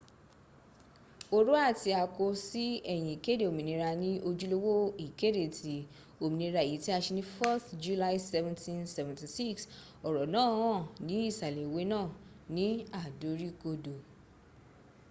oro ti ako si eyin ikede ominira ni ojulowo ikede ti ominira eyi ti a se ni 4th july 1776 oro naa han ni isale iwe naa ni adorikodo